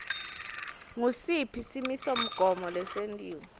ngusiphi simisomgomo lesentiwe